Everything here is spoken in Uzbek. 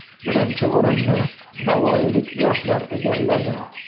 Birinchi o‘rinni navoiylik yoshlar egalladi.